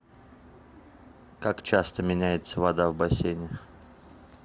как часто меняется вода в бассейне